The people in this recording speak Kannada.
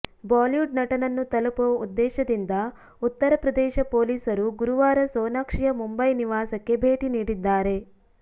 ಬಾಲಿವುಡ್ ನಟನನ್ನು ತಲುಪುವ ಉದ್ದೇಶದಿಂದ ಉತ್ತರ ಪ್ರದೇಶ ಪೊಲೀಸರು ಗುರುವಾರ ಸೋನಾಕ್ಷಿಯ ಮುಂಬೈ ನಿವಾಸಕ್ಕೆ ಭೇಟಿ ನೀಡಿದ್ದಾರೆ